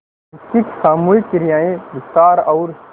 जिसकी सामूहिक क्रियाएँ विस्तार और